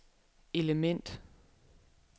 element